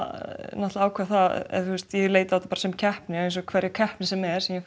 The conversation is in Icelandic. náttúrulega ákvað það ég leit á þetta sem keppni eins og hvaða keppni sem er sem ég